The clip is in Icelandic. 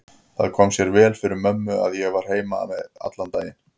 Það kom sér vel fyrir mömmu að ég var heima við alla daga.